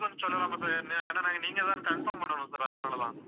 சொல்லலாமா sir ஏன்~ ஏன்னா, நாங்க நீங்கதான்னு confirm பண்ணணும் sir அதனாலதான்.